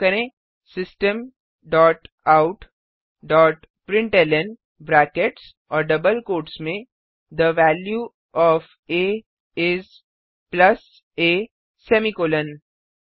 फिर टाइप करें system dot out dot println brackets और डबल कोट्स में थे value of a is plus a semicolon